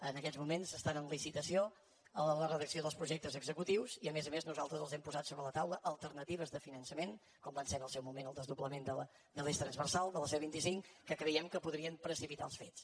en aquests moments està en licitació la redacció dels projectes executius i a més a més nosaltres els hem posat sobre la taula alternatives de finançament com va ser en el seu moment el desdoblament de l’eix transversal de la c vint cinc que creiem que podrien precipitar els fets